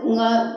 N ka